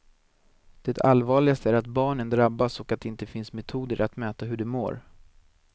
Det allvarligaste är att barnen drabbas och att det inte finns metoder att mäta hur de mår.